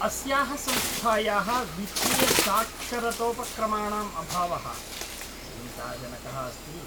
अस्याः संस्थायाः वित्तीयसाक्षरतोपक्रमाणाम् अभावः चिन्ताजनकः अस्ति।